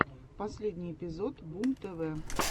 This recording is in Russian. последний эпизод бумтв